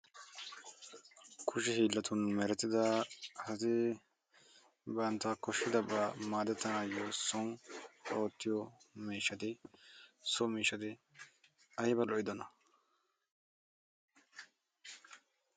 Kushe hiilatun merettida asati bantta koshshidabaa maadettanayo so giddo miishshati ayba lo'iyona.